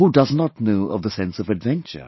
Who does not know of the sense of adventure